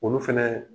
Olu fɛnɛ